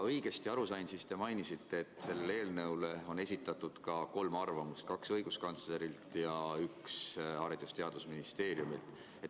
Kui ma õigesti aru sain, siis te mainisite, et selle eelnõu kohta on esitatud ka kolm arvamust: kaks õiguskantslerilt ja üks Haridus- ja Teadusministeeriumilt.